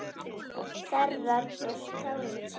Þerrar burt tárin þín.